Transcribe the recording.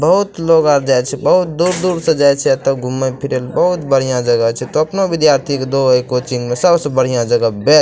बहुत लोग आर जाय छै बहुत दूर-दूर से जाय छै एते घूमे फिरे ले बहुत बढ़िया जगह छै तब ने विद्यार्थी के दोहो ए कोचिंग मे सबसे बढ़िया जगह बेस्ट --